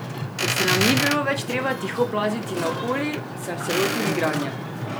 Ker se nam ni bilo več treba tiho plaziti naokoli, sem se lotil igranja.